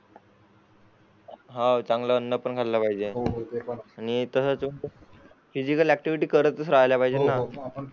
हा चांगला अन्न खाल पाहिजे हो हो ते पण आहे आणि फीझिकल ऍक्टिव्हिटी करतच राहायला पाहिजे हो हो